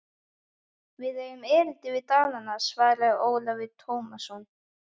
Við eigum erindi við Danina, svaraði Ólafur Tómasson.